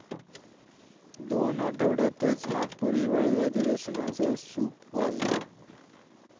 दोन आठवड्यातच नागपूर हिवाळी अधिवेशनाचं सूप वाजलं!